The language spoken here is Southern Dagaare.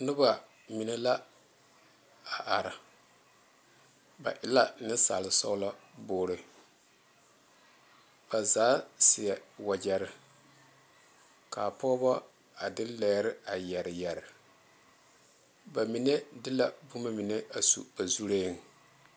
Noba mine la a are ba e la Nensaal sɔgba bugre ba zaa seɛ wagyere kaa pɔgebo a de lɛɛre a yeere yeere ba mine de la boma mine a su ba zure.